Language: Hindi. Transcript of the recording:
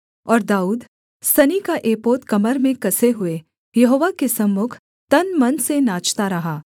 और दाऊद सनी का एपोद कमर में कसे हुए यहोवा के सम्मुख तन मन से नाचता रहा